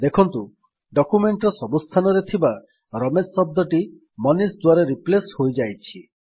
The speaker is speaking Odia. ଦେଖନ୍ତୁ ଡକ୍ୟୁମେଣ୍ଟ୍ ର ସବୁ ସ୍ଥାନରେ ଥିବା ରମେଶ ଶବ୍ଦଟି ମନିଷ ଦ୍ୱାରା ରିପ୍ଲେସ୍ ହୋଇଯାଇଛି